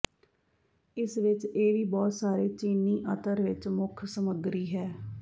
ਇਸ ਵਿਚ ਇਹ ਵੀ ਬਹੁਤ ਸਾਰੇ ਚੀਨੀ ਅਤਰ ਵਿਚ ਮੁੱਖ ਸਮੱਗਰੀ ਹੈ